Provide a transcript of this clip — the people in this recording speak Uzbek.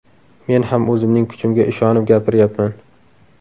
Men ham o‘zimning kuchimga ishonib gapiryapman.